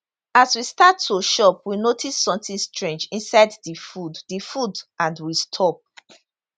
as we start to chop we notice sometin strange inside di food di food and we stop